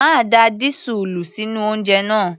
Má da dísúùlù sínú oúnjẹ náà!